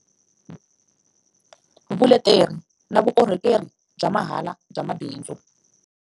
Vuleteri na vukorhokeri bya mahala bya mabindzu.